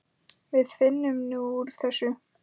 Við finnum út úr þessu.